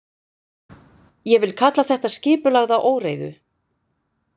Ég vil kalla þetta skipulagða óreiðu.